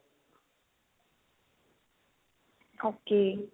okay